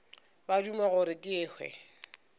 ba duma gore ke hwe